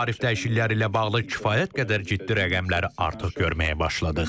Tarif dəyişiklikləri ilə bağlı kifayət qədər ciddi rəqəmləri artıq görməyə başladıq.